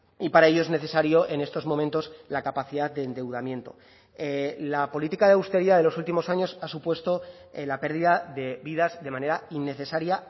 y para ello es necesario en estos momentos la capacidad de endeudamiento la política de austeridad de los últimos años ha supuesto la pérdida de vidas de manera innecesaria